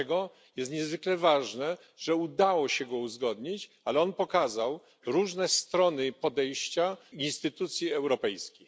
Dlatego jest niezwykle ważne, że udało się go uzgodnić, ale on pokazał różne strony i podejścia instytucji europejskich.